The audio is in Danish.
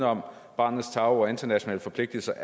om barnets tarv og internationale forpligtelser